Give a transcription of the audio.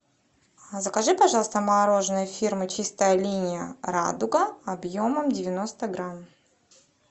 закажи пожалуйста мороженое фирмы чистая линия радуга объемом девяносто грамм